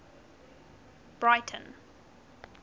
breyten